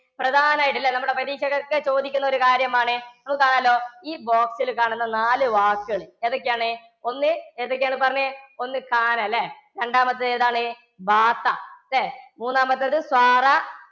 പ്രധാനായിട്ട് ല്ലേ? നമ്മടെ പരീക്ഷക്കൊക്കെ ചോദിക്കണ ഒരു കാര്യമാണ് ഈ box ലു കാണുന്ന നാലു വാക്ക്. എതൊക്ക്യാണ്? ഒന്ന് ഏതൊക്ക്യാണ് പറഞ്ഞെ, ഒന്ന് ല്ലേ? രണ്ടാമത്തതെതാണ്, ല്ലേ? മൂന്നാമത്തത്